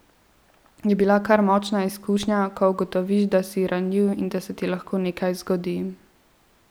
Je bila kar močna izkušnja, ko ugotoviš, da si ranljiv in da se ti lahko nekaj zgodi.